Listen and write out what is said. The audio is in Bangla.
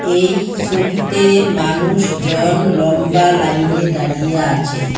এই সোবিতে মানুষজন লম্বা লাইনে দাঁড়িয়ে আছে।